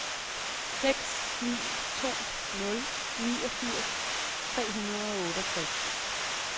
seks ni to nul niogfirs tre hundrede og otteogtres